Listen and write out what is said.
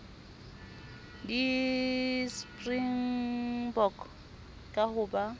di springbok ka ho ba